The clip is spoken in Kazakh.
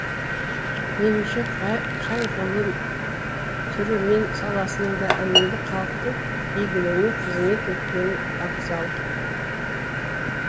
меніңше қай ғылым түрі мен саласының да әуелі халықтың игіліне қызмет еткені абзал